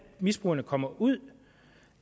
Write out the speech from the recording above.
misbrugerne kommer ud